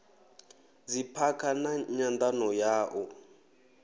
dziphakha na nyandano ya u